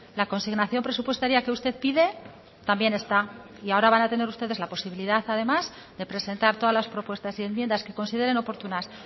la consignación presupuestaria que usted pide también está y ahora van a tener ustedes la posibilidad además de presentar todas las propuestas y enmiendas que consideren oportunas